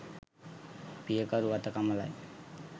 පියකරු වත කමලයි.